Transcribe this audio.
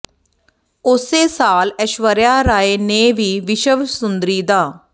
ਉਸੇ ਸਾਲ ਐਸ਼ਵਰਿਆ ਰਾਏ ਨੇ ਵੀ ਵਿਸ਼ਵ ਸੁੰਦਰੀ ਦਾ